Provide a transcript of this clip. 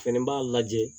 Fɛnɛ b'a lajɛ